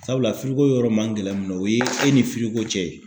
Sabula yɔrɔ man gɛlɛ mun na o ye e ni cɛ ye